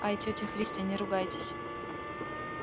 ай тётя христя не ругайтесь